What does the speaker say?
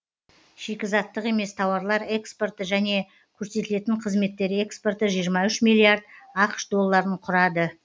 шикізаттық емес тауарлар экспорты және көрсетілетін қызметтер экспорты жиырма үш миллиард ақш долларын құрады